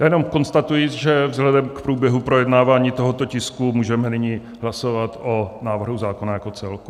Já jenom konstatuji, že vzhledem k průběhu projednávání tohoto tisku můžeme nyní hlasovat o návrhu zákona jako celku.